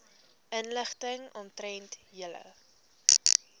inligting omtrent julle